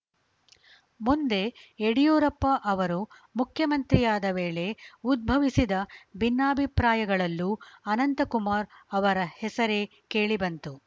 ಮುಂದೆ ಯಡಿಯೂರಪ್ಪ ಅವರು ಮುಖ್ಯಮಂತ್ರಿಯಾದ ವೇಳೆ ಉದ್ಭವಿಸಿದ ಭಿನ್ನಾಭಿಪ್ರಾಯಗಳಲ್ಲೂ ಅನಂತಕುಮಾರ್‌ ಅವರ ಹೆಸರೇ ಕೇಳಿಬಂತು